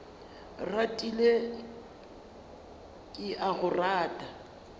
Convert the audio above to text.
ratile ke a go rata